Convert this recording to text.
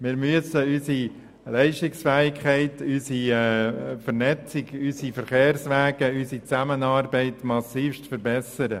Wir müssen unsere Leistungsfähigkeit, unsere Vernetzung, unsere Verkehrswege und unsere Zusammenarbeit massiv verbessern.